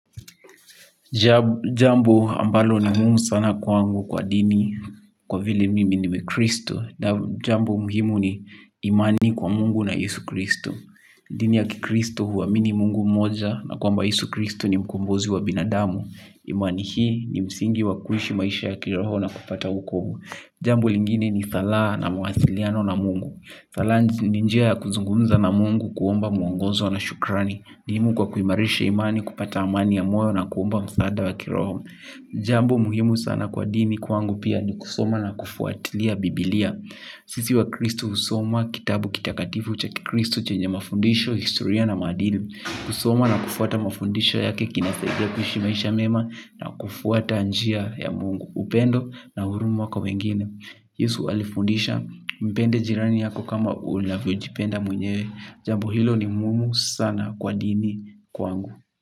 Jambo ambalo ni muhimu sana kwa angu kwa dini kwa vile mimi ni mkristo. Jambo muhimu ni imani kwa mungu na yesu kristo. Dini ya kikristo huamini mungu moja na kwamba yesu kristo ni mkombozi wa binadamu. Imani hii ni msingi wa kuishi maisha ya kiroho na kupata wokovu. Jambo lingine ni sala na muwasiliano na mungu sala ninjia ya kuzungunza na mungu kuomba muongozo na shukrani. Ni muhimu kwa kuimarisha imani kupata amani ya moyo na kuomba msaada wa kiroho. Jambo muhimu sana kwa dini kwangu pia ni kusoma na kufuatilia biblia. Sisi wa Kristu husoma kitabu kitakatifu chakikristu chenye mafundisho, historia na maadili. Kusoma na kufuata mafundisho yake kinasaidia kuishimaisha mema na kufuata njia ya mungu upendo na huruma kwa wengine Yesu alifundisha mpende jirani yako kama unavyo jipenda mwenyewe. Jambo hilo ni muhimu sana kwa dini kwangu.